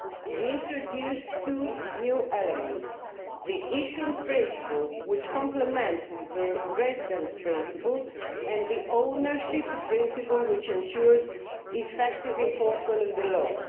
We have introduced two new elements the issuance principle, which complements the residence principle, and the ownership principle, which ensures effective enforcement of the law.